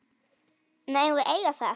Megum við eiga það?